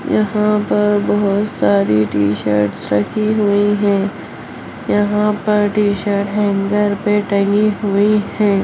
यहाँ पर बहुत सारी टी-शर्ट रखी हुई हैं। यहाँ पर टी-शर्ट हेंगर पे टंगी हुई हैं।